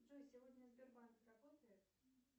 джой сегодня сбербанк работает